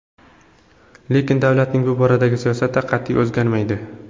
Lekin davlatning bu boradagi siyosati qat’iy, o‘zgarmaydi.